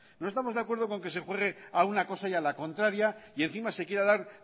no estamos de acuerdo con que se juegue a una cosa y a la contraria y encima se quiera dar